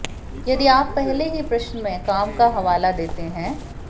यदि आप पहले ही प्रश्न में काम का हवाला देते हैं